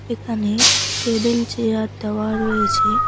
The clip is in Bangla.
এখানে টেবিল চেয়ার দেওয়া রয়েছে।